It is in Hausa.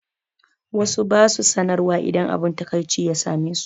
Wasu ba su sanarwa idan abun takaici ya same su.